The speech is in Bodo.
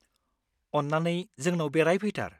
अन्नानै! जोंनाव बेरायफैथार।